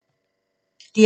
DR2